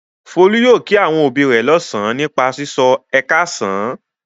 Folú yóò kí àwọn òbí rẹ̀ lọ́sàn-án nípa sísọ "ẹ káàsán".